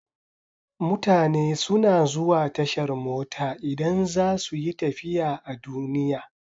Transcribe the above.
Mutane suna zuwa tashar mota idan za su yi tafiya a duniya.